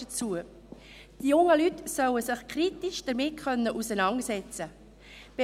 Die jungen Leute sollen sich kritisch damit auseinandersetzen können.